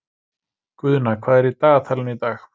Guðna, hvað er í dagatalinu í dag?